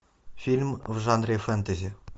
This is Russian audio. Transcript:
фильм в жанре фэнтези